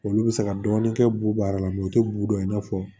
Olu bɛ se ka dɔɔni kɛ b'u baara la u tɛ b'u dɔn i n'a fɔ